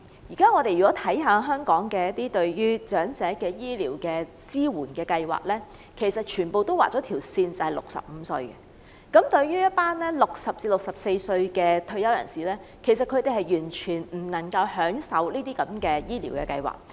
現在香港支援長者的醫療計劃全部劃了線，以65歲或以上為限 ，60 歲至64歲的退休人士完全享用不到這些醫療計劃。